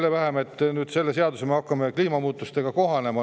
Selle eelnõu järgi me nagu hakkame kliimamuutustega kohanema.